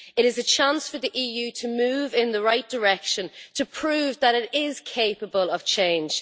It is a chance for the EU to move in the right direction to prove that it is capable of change.